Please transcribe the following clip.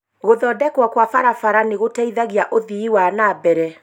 Gũthondekwo kwa barabara nĩ gũteithagia ũthii wa na mbere.